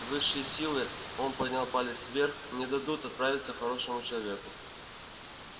высшие силы он поднял палец вверх не дадут отправиться хорошему человеку